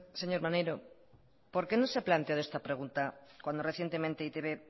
señor maneiro por qué no se ha planteado esta pregunta cuando recientemente e i te be